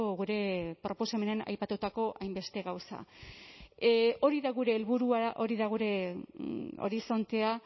gure proposamenean aipatutako hainbeste gauza hori da gure helburua hori da gure horizontea